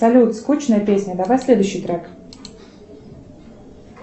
салют скучная песня давай следующий трек